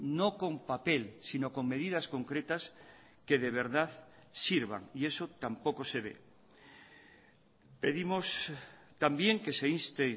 no con papel sino con medidas concretas que de verdad sirvan y eso tampoco se ve pedimos también que se inste